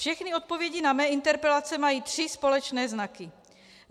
Všechny odpovědi na mé interpelace mají tři společné znaky.